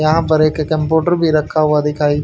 यहां पर एक कम्प्यूटर भी रखा हुआ दिखाई--